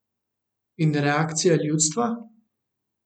In reakcija ljudstva?